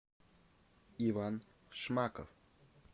иван шмаков